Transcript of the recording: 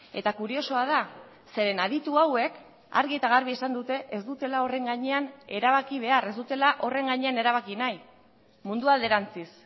eta kuriosoa da zeren aditu hauek argi eta garbi esan dute ez dutela horren gainean erabaki behar ez dutela horren gainean erabaki nahi mundua alderantziz